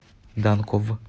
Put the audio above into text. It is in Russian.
данков